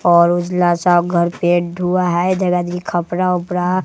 और उजला सा घर पेंट हुआ है जगह जगी खपरा ओपरा--